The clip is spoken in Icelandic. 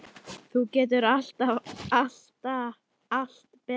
Þú gerðir alltaf allt betra.